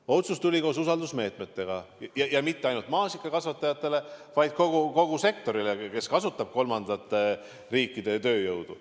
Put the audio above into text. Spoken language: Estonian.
Aga otsus tuli koos usaldusmeetmetega, ja mitte ainult maasikakasvatajatele, vaid kogu sektorile, kes kasutab kolmandate riikide tööjõudu.